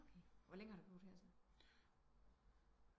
Okay hvor længe har du boet her så